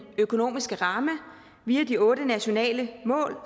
økonomiske ramme via de otte nationale mål